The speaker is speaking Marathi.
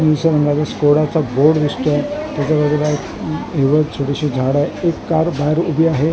रंगाचा स्कोडाचा बोर्ड दिसतोय त्याच्या बाजूला हिरवं छोटीशी झाड आहे एक कार बाहेर उभी आहे एक कार --